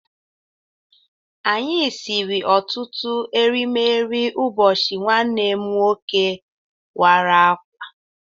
Anyị siri ọtụtụ erimeri ụbọchị nwanne m nwoke wara akwa